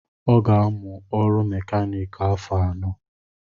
ọ ga-amụ ọrụ mèkánik afọ anọ